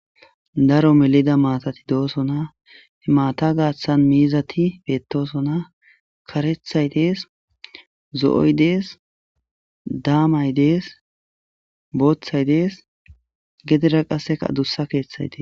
Daro melida maatati do'osona maata gaaththan miizati beettosona karethay dees zo'oy dees daamay dees booththay dees gedera qasseka adussa keeththay tee